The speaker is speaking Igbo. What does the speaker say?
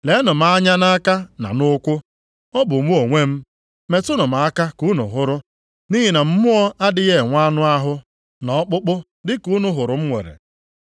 Leenụ m anya nʼaka na nʼụkwụ. Ọ bụ mụ onwe m! Metụnụ m aka ka unu hụrụ, nʼihi na mmụọ adịghị enwe anụ ahụ na ọkpụkpụ dị ka unu hụrụ m nwere.”